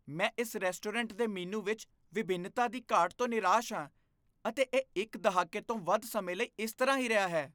ਮੈਂ ਇਸ ਰੈਸਟੋਰੈਂਟ ਦੇ ਮੀਨੂ ਵਿੱਚ ਵਿਭਿੰਨਤਾ ਦੀ ਘਾਟ ਤੋਂ ਨਿਰਾਸ਼ ਹਾਂ ਅਤੇ ਇਹ ਇੱਕ ਦਹਾਕੇ ਤੋਂ ਵੱਧ ਸਮੇਂ ਲਈ ਇਸ ਤਰ੍ਹਾਂ ਹੀ ਰਿਹਾ ਹੈ।